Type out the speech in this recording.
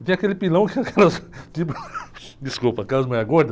E tem aquele pilão que aquelas... Desculpa, aquelas mulheres gordas.